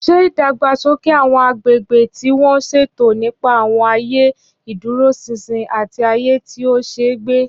Ṣé ìdàgbàsókè àwọn agbègbè tí wọ́n ṣètò nípa àwọn ààyè ìdúróṣinṣin àti ààyè tí ó ṣe é gbé?